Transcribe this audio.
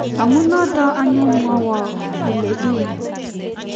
amu notok anyun mwaiwo ile ii ng'o